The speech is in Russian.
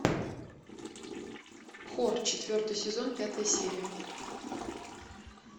хор четвертый сезон пятая серия